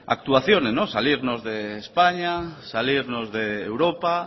actuación salirnos de españa salirnos de europa